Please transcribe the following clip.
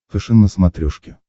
фэшен на смотрешке